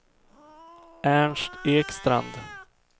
Ernst Ekstrand